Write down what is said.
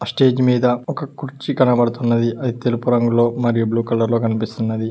Stage మీద ఒక కుర్చీ కనబడుతున్నది అది తెలుపు రంగులో మరియు బ్లూ కలర్ లో కనిపిస్తున్నది.